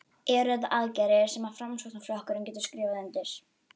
Eru þetta aðgerðir sem að Framsóknarflokkurinn getur skrifað undir?